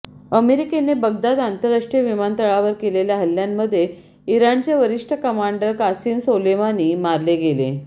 अमेरिकेने बगदाद आंतरराष्ट्रीय विमानतळावर केलेल्या हल्ल्यामध्ये इराणचे वरिष्ठ कमांडर कासिम सोलेमानी मारले गेले